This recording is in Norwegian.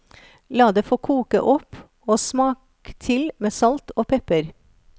La det få koke opp, og smak til med salt og pepper.